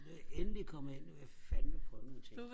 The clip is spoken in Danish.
nu er jeg endelig kommet ind nu vil jeg fandme prøve nogle ting